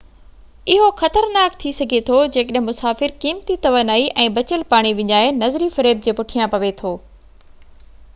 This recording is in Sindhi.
اهو خطرناڪ ٿي سگهي ٿو جيڪڏهن مسافر قيمتي توانائي ۽ بچيل پاڻي وڃائي نظري فريب جي پٺيان پوي ٿو